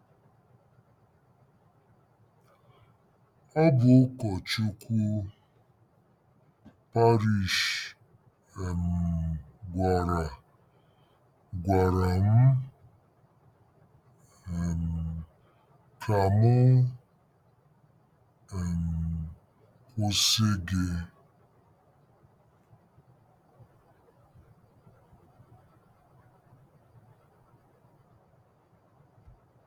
Ọ bụ ụkọchukwu parish um gwara gwara m um ka m um kwụsị gị. ”